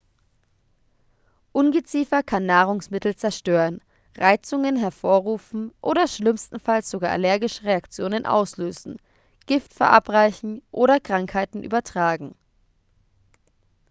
ungeziefer kann nahrungsmittel zerstören reizungen hervorrufen oder schlimmstenfalls sogar allergische reaktionen auslösen gift verabreichen oder krankheiten übertragen